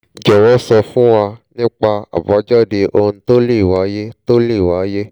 jọwọ sọ fún wa nípa àbájáde ohun tó le wàyé tó le wàyé